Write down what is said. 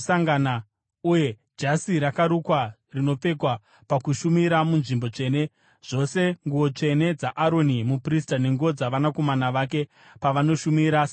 uye jasi rakarukwa rinopfekwa pakushumira munzvimbo tsvene, zvose nguo tsvene dzaAroni muprista nenguo dzavanakomana vake pavanoshumira savaprista.